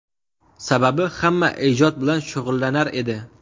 Sababi, hamma ijod bilan shug‘ullanar edi!